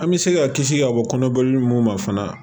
An bɛ se ka kisi ka bɔ kɔnɔboli mun ma fana